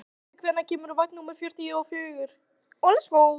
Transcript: Hólmfastur, hvenær kemur vagn númer fjörutíu og fjögur?